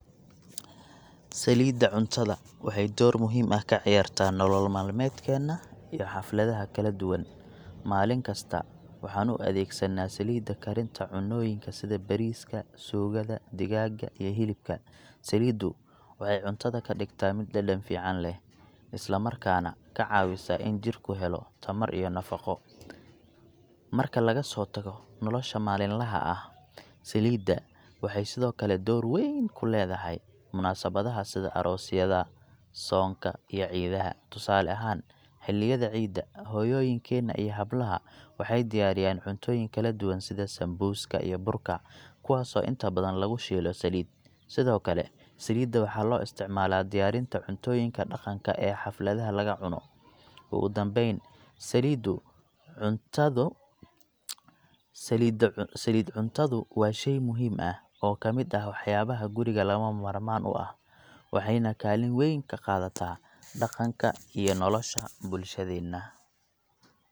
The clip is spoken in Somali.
Saliidda cuntada waxay door muhiim ah ka ciyaartaa nolol maalmeedkeenna iyo xafladaha kala duwan. Maalin kasta, waxaan u adeegsanaa saliidda karinta cunnooyinka sida bariiska, suugada, digaagga, iyo hilibka. Saliiddu waxay cuntada ka dhigtaa mid dhadhan fiican leh, isla markaana ka caawisa in jidhku helo tamar iyo nafaqo. Marka laga soo tago nolosha maalinlaha ah, saliidda waxay sidoo kale door weyn ku leedahay munaasabadaha sida aroosyada, soonka, iyo ciidaha. Tusaale ahaan, xilliyada Ciidda, hooyooyinkeena iyo hablaha waxay diyaariyaan cuntooyin kala duwan sida sambuuska iyo burka, kuwaasoo inta badan lagu shiilo saliid. Sidoo kale, saliidda waxaa loo isticmaalaa diyaarinta cuntooyinka dhaqanka ee xafladaha lagu cuno. Ugu dambeyn, saliidda cuntadu, saliid cuntadu waa shey muhiim ah oo ka mid ah waxyaabaha guriga laga maarmaan u ah, waxayna kaalin weyn ka qaadataa dhaqanka iyo nolosha bulshadeenna.